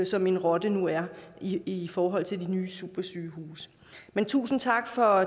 som en rotte nu er i i forhold til de nye supersygehuse men tusind tak for